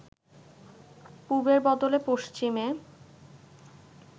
পুবের বদলে পশ্চিমে